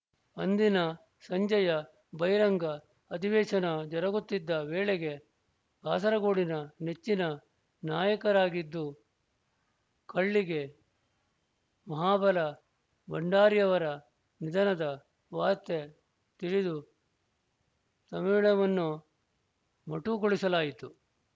ಅಂದಿನ ಸಂಜೆಯ ಬಹಿರಂಗ ಅಧಿವೇಶನ ಜರುಗುತ್ತಿದ್ದ ವೇಳೆಗೆ ಕಾಸರಗೋಡಿನ ನೆಚ್ಚಿನ ನಾಯಕರಾಗಿದ್ದು ಕಳ್ಳಿಗೆ ಮಹಾಬಲ ಭಂಡಾರಿಯವರ ನಿಧನದ ವಾರ್ತೆ ತಿಳಿದು ಸಮ್ಮಿಳವನ್ನು ಮೊಟುಕುಗೊಳಿಸಲಾಯಿತು